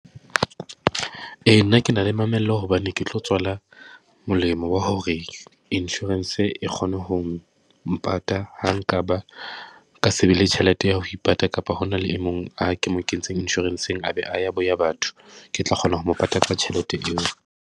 Ee, nna ke na le mamello hobane ke tlo tswala molemo wa hore insurance e kgone ho mo mpata ha nkaba ka se be le tjhelete ya ho ipata kapa hona le e mong, a ke mo kentseng insurance-eng a be a ya boya batho. Ke tla kgona ho mo pata ka tjhelete eo.